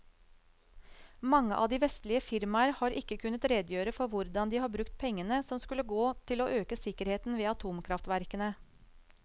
Mange av de vestlige firmaer har ikke kunnet redegjøre for hvordan de har brukt pengene som skulle gå til å øke sikkerheten ved atomkraftverkene.